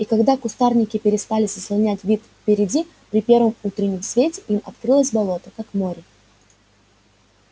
и когда кустарники перестали заслонять вид впереди при первом утреннем свете им открылось болото как море